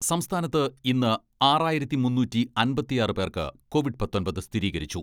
സംസ്ഥാനത്ത് ഇന്ന് ആറായിരത്തി മുന്നൂറ്റി അമ്പത്തിയാറ് പേർക്ക് കോവിഡ് പത്തൊമ്പത് സ്ഥിരീകരിച്ചു.